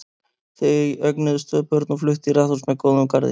Þau eignuðust tvö börn og fluttu í raðhús með góðum garði.